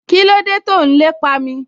Kíló dé tó n lépa mi?